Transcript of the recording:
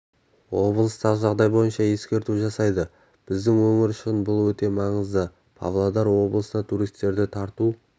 облыстағы жағдай бойынша ескерту жасайды біздің өңір үшін бұл өте маңызды павлодар облысына туристерді тарту